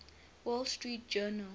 wall street journal